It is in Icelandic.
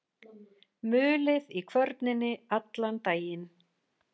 Mulið í kvörninni allan daginn.